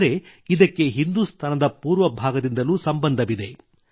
ಆದರೆ ಇದಕ್ಕೆ ಹಿಂದುಸ್ತಾನದ ಪೂರ್ವ ಭಾಗದಿಂದಲೂ ಸಂಬಂಧವಿದೆ